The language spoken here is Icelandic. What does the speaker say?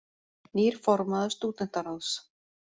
Nýr formaður Stúdentaráðs